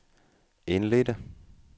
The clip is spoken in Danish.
indledte